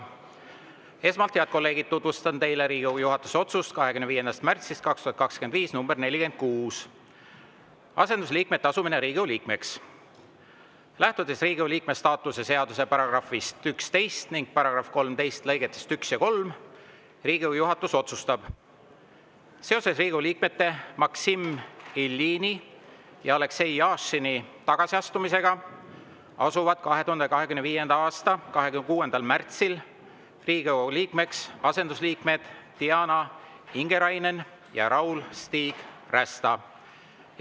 Esmalt, head kolleegid, tutvustan teile Riigikogu juhatuse 25. märtsi 2025. aasta otsust nr 46 "Asendusliikmete asumine Riigikogu liikmeks": "Lähtudes Riigikogu liikme staatuse seaduse §‑st 11 ning § 13 lõigetest 1 ja 3, Riigikogu juhatus otsustab: seoses Riigikogu liikmete Maksim Iljini ja Aleksei Jašini tagasiastumisega asuvad 2025. aasta 26. märtsil Riigikogu liikmeks asendusliikmed Diana Ingerainen ja Raul-Stig Rästa.